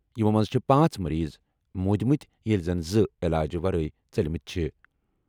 یِمو منٛزٕ چھِ پانٛژھ مٔریٖض موٗدمٕتۍ ییٚلہِ زن زٕ علاج ورٲے ژٔلِمٕتۍ چھِ۔